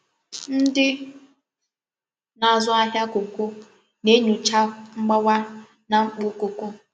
Ndị na-azụ ahịa kókó na-enyocha mgbawa na mkpọ kọkó.